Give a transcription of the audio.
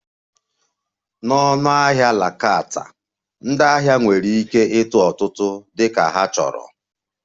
Na ọnụahịa la carte, ndị ahịa nwere ike ịtụ ọtụtụ dị ka ha chọrọ